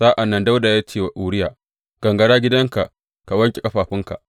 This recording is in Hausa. Sa’an nan Dawuda ya ce wa Uriya, Gangara gidanka ka wanke ƙafafunka.